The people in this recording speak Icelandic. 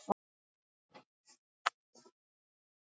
Það var allt í einum hnút í hausnum á mér.